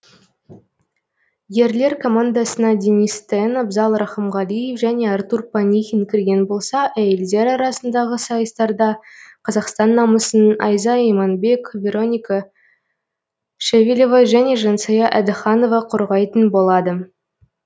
ерлер командасына денис тен абзал рақымғалиев және артур панихин кірген болса әйелдер арасындағы сайыстарда қазақстан намысын айза иманбек вероника шевелева және жансая әдіханова қорғайтын болады